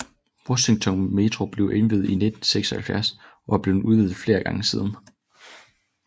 Washington Metro blev indviet i 1976 og er blevet udvidet flere gange siden